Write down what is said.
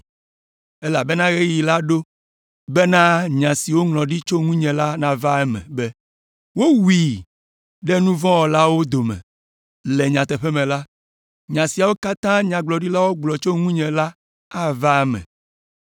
Elabena ɣeyiɣi la ɖo bena nya si woŋlɔ ɖi tso ŋunye la nava eme be, ‘Wowui ɖe nu vɔ̃ wɔlawo dome.’ Le nyateƒe me la, nya siwo katã nyagblɔɖilawo gblɔ tso ŋunye la ava eme.”